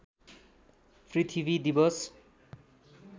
पृथ्वी दिवस